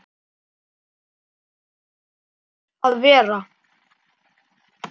Jói var vanur að vera.